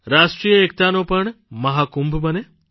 રાષ્ટ્રીય એકતાનો પણ મહાકુંભ બને